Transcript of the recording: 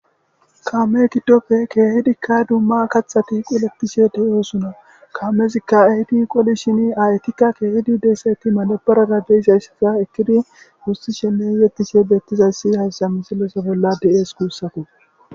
kaame kiddofe keehidikka dumma kaththati qoletishe de'osona kaamezikka ehidi qolishini aayetikka keehidi de'iyasaytti madabara de'izaysaza ekidi gussishenne yetishe beettizayssi hayssa misileza bolla de'es guussako.